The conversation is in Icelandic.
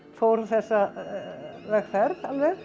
fór þessa vegferð